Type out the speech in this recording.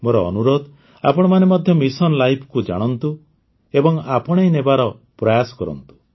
ମୋର ଅନୁରୋଧ ଆପଣମାନେ ମଧ୍ୟ ମିଶନ୍ ଲାଇଫକୁ ଜାଣନ୍ତୁ ଏବଂ ଆପଣେଇନେବାର ପ୍ରୟାସ କରନ୍ତୁ